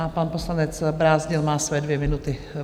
A pan poslanec Brázdil má své dvě minuty.